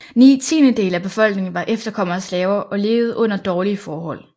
Ni tiendedele af befolkningen var efterkommere af slaver og levede under dårlige forhold